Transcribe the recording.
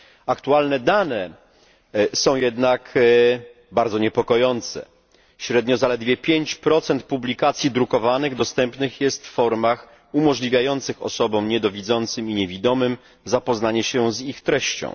Aktualne dane są jednak bardzo niepokojące średnio zaledwie 5 publikacji drukowanych dostępnych jest w formach umożliwiających osobom niedowidzącym i niewidomym zapoznanie się z ich treścią.